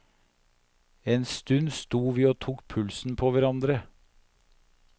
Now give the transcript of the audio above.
En stund sto vi og tok pulsen på hverandre.